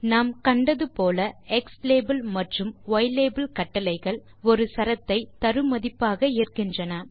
நாம் கண்டது போல க்ஸ்லாபெல் மற்றும் யிலாபெல் கட்டளைகள் ஒரு சரத்தை தரு மதிப்பாக ஏற்கின்றன